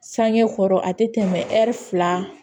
Sange kɔrɔ a tɛ tɛmɛ ɛri fila kan